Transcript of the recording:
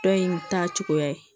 Dɔ in ta cogoya ye